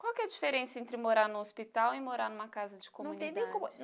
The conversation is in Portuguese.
Qual que é a diferença entre morar num hospital e morar em uma casa de comunidade? Não tem nem como